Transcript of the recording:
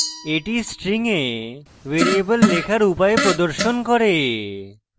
এটি string a variable লেখার উপায় প্রদর্শন করে